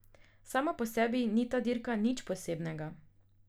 Sama po sebi ni ta dirka nič posebnega.